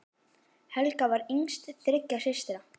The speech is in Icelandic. Helga var yngst þriggja systra.